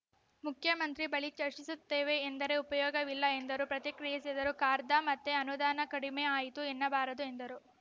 ಮುಖ್ಯಮಂತ್ರಿ ಬಳಿ ಚರ್ಚಿಸುತ್ತೇವೆ ಎಂದರೆ ಉಪಯೋಗವಿಲ್ಲ ಎಂದರು ಪ್ರತಿಕ್ರಿಯಿಸಿದರು ಖಾರ್ದ ಮತ್ತೆ ಅನುದಾನ ಕಡಿಮೆ ಆಯಿತು ಎನ್ನಬಾರದು ಎಂದರು